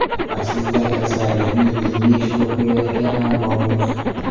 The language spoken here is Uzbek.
Aslida kasallikni yengish ruhiyatga ham bog‘liq.